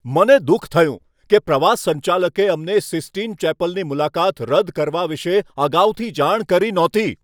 મને દુઃખ થયું કે પ્રવાસ સંચાલકે અમને સિસ્ટીન ચેપલની મુલાકાત રદ કરવા વિશે અગાઉથી જાણ કરી નહોતી.